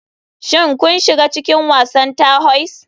Shin kun shiga cikin wasan terhoise?